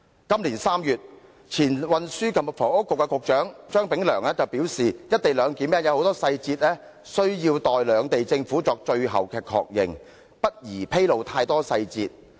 今年3月，前運輸及房屋局局長張炳良表示，"一地兩檢"有許多細節需待兩地政府作最後確認，故不宜披露太多細節。